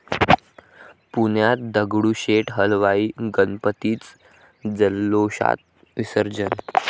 पुण्यात दगडूशेठ हलवाई गणपतीचं जल्लोषात विसर्जन